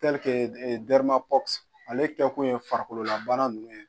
ale kɛ kun ye farikolola bana nunnu ye.